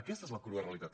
aquesta és la crua realitat